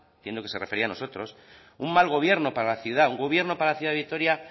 entiendo que se refería a nosotros un mal gobierno para la ciudad un gobierno para la ciudad de vitoria